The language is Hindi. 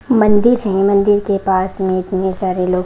मंदिर है मंदिर के पास में बहोत सारे लोग--